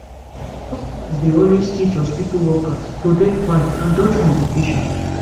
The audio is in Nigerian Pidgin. dokita's dey always teach hospitu workers to dey fine and dodge complications